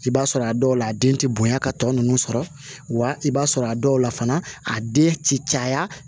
I b'a sɔrɔ a dɔw la a den tɛ bonya ka tɔ ninnu sɔrɔ wa i b'a sɔrɔ a dɔw la fana a den ti caya